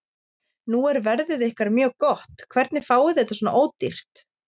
Nú er verðið ykkar mjög gott, hvernig fáið þið þetta svona ódýrt?